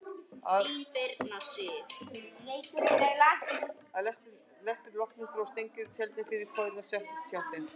Að lestri loknum dró Steingerður tjöldin fyrir kojurnar og settist hjá þeim.